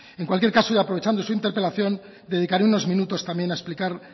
en cualquier caso y aprovechando su interpelación dedicaré unos minutos también a explicar